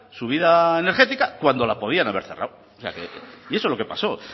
su vida energética cuando la podían haber cerrado y eso es lo que pasó